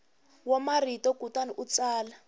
wa marito kutani u tsala